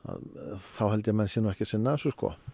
þá held ég að menn séu ekki að sinna þessu